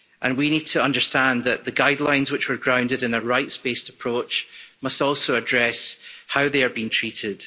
We need to understand that the guidelines which were grounded in a rights based approach must also address how they are being treated.